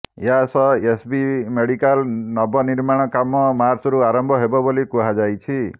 ଏହାସହ SCB medical ନବନିର୍ମାଣ କାମ ମାର୍ଚ୍ଚରୁ ଆରମ୍ଭ ହେବ ବୋଲି କୁହାଯାଇଛି